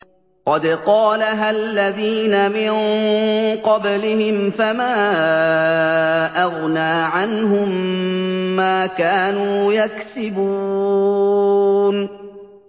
قَدْ قَالَهَا الَّذِينَ مِن قَبْلِهِمْ فَمَا أَغْنَىٰ عَنْهُم مَّا كَانُوا يَكْسِبُونَ